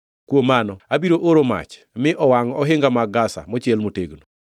kuom mano abiro oro mach mi owangʼ ohinga mag Gaza mochiel motegno.